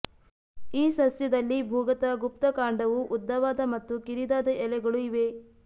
ಈ ಸಸ್ಯದಲ್ಲಿ ಭೂಗತ ಗುಪ್ತಕಾಂಡವೂ ಉದ್ದವಾದ ಮತ್ತು ಕಿರಿದಾದ ಎಲೆಗಳೂ ಇವೆ